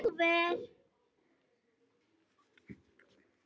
Ég er viss um að hún hefði ekki þegið það.